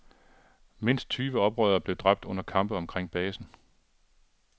Mindst tyve oprørere blev dræbt under kampe omkring basen.